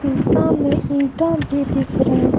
शीशा में ईंट भी दिख रहे हैं ।